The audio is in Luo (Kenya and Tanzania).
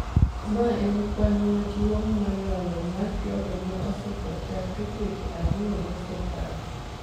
Mae en kwan maduong’ie moloyo mar jogo ma osetho chakre dweche ariyo mosekalo